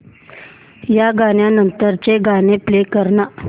या गाण्या नंतरचं गाणं प्ले कर ना